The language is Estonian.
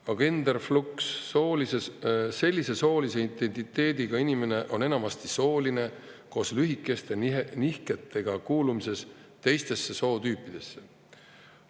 Agenderflux – sellise soolise identiteediga inimene on enamasti sooline koos lühikeste nihetega, kuuludes teistesse sootüüpidesse.